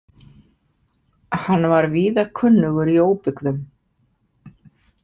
Hann var víða kunnugur í óbyggðum.